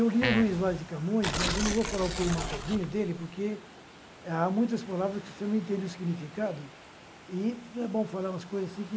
eu li o Luiz Vaz de Camões, mas eu não vou falar o poema todinho dele, porque há muitas palavras que você não entende o significado, e não é bom falar umas coisas assim que...